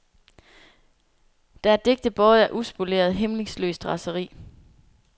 Der er digte båret af uspoleret, hæmningsløst raseri.